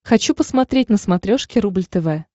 хочу посмотреть на смотрешке рубль тв